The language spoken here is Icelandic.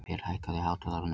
Per, hækkaðu í hátalaranum.